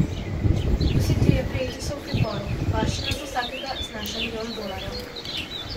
Vsi trije prijeti so v priporu, varščina za vsakega znaša milijon dolarjev.